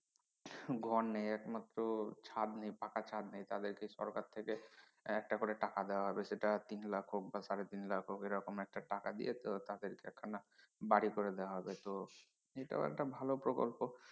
ঘর নেই একমাত্র ছাদ নেই পাকা ছাদ নেই তাদেরকে সরকার থেকে একটা করে টাকা দেয়া হবে সেটা তিন লাখ হোক বা সাড়ে তিন লাখ হোক এরকম একটা টাকা দিয়ে তো তাদেরকে একখানা বাড়ি করে দেয়া হবে তো এটাও একটা ভালো প্রকল্প